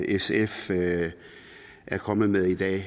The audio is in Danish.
sf er kommet med i dag